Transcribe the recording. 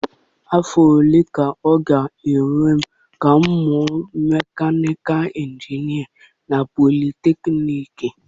Afọ ole ka ọ ga-ewe m ka m mụọ Mekanịkị injinia na Politeknịk?